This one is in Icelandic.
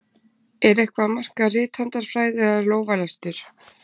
Er eitthvað að marka rithandarfræði eða lófalestur?